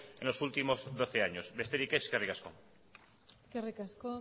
en los últimos doce años besterik ez eskerrik asko eskerrik asko